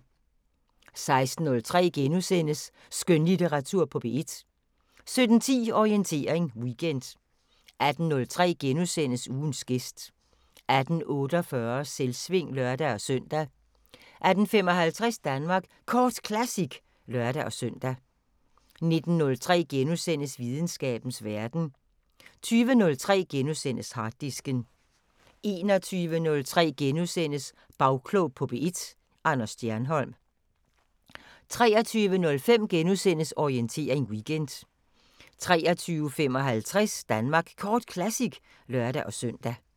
16:03: Skønlitteratur på P1 * 17:10: Orientering Weekend 18:03: Ugens gæst * 18:48: Selvsving (lør-søn) 18:55: Danmark Kort Classic (lør-søn) 19:03: Videnskabens Verden * 20:03: Harddisken * 21:03: Bagklog på P1: Anders Stjernholm * 23:05: Orientering Weekend * 23:55: Danmark Kort Classic (lør-søn)